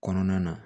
Kɔnɔna na